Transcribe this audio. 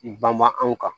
Banma anw kan